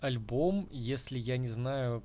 альбом если я не знаю